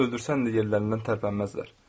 Öldürsən də yerlərindən tərpənməzlər.